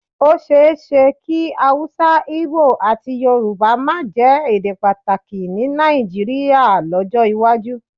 Ó ṣeé ṣe kí Hausa, Igbo àti Yorùbá máa jẹ́ èdè pàtàkì ní Nàìjíríà lọ́jọ́ iwájú